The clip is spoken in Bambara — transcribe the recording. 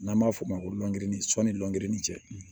N'an b'a f'o ma ko lɔgɔginin sɔnni lgurin cɛ